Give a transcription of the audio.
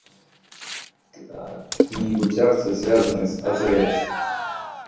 какие-нибудь акции связанные с азс